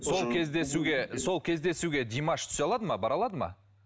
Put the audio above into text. сол кездесуге сол кездесуге димаш түсе алады ма бара алады ма